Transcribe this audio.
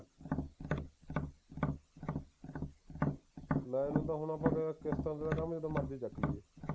ਲੈਣ ਨੂੰ ਤਾਂ ਹੁਣ ਆਪਾਂ ਕਿਸ਼ਤਾਂ ਤੇ ਜਦੋਂ ਮਰਜ਼ੀ ਚੁੱਕ ਲਈਏ